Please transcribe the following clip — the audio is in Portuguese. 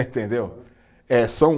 Entendeu? Eh, são